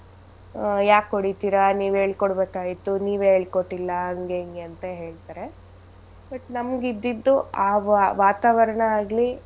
ಆಹ್ ಯಾಕ್ ಹೊಡಿತಿರ ನೀವ್ ಹೇಳ್ಕೊಡ್ಬೇಕಾಗಿತ್ತು ನೀವೇ ಹೇಳ್ಕೊಟ್ಟಿಲ್ಲ ಹಂಗೆ ಹಿಂಗೆ ಅಂತ ಹೇಳ್ತಾರೆ but ನಮ್ಗಿದ್ದಿದ್ದು ಆ ವಾತಾವರಣ ಆಗ್ಲಿ.